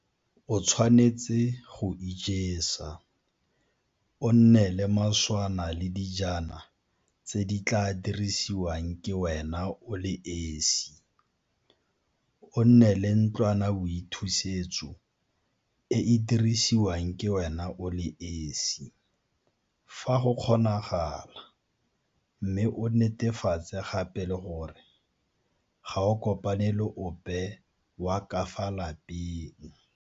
O tshwanetse go ijesa, o nne le maswana le dijana tse di tla dirisiwang ke wena o le esi, o nne le ntlwanaboithusetso e e dirisiwang ke wena o le esi, fa go kgonagala mme o netefatse gape le gore ga o kopane le ope wa ka fa lapeng.